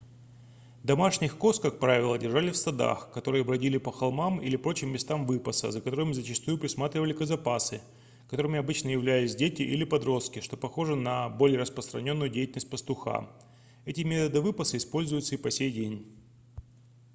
домашних коз как правило держали в стадах которые бродили по холмам или прочим местам выпаса за которым зачастую присматривали козопасы которыми обычно являлись дети или подростки что похоже на более распространённую деятельность пастуха эти методы выпаса используются и по сей день